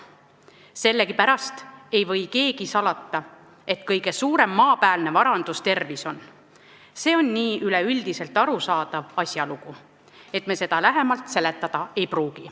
Sellegipärast ei või keegi salata, et kõige suurem maapäälne varandus tervis on, see on nii üleüldiselt arusaadav asjalugu, et ma seda lähemalt seletada ei pruugi.